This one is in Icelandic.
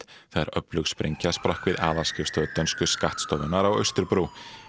þegar öflug sprengja sprakk við aðalskrifstofu dönsku skattstofunnar á Austurbrú